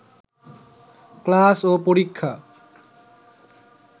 class ও পরীক্ষা